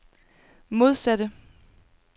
modsatte